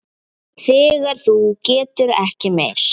Þegar þú getur ekki meir.